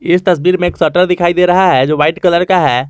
इस तस्वीर में एक शटर दिखाई दे रहा है जो वाइट कलर का है।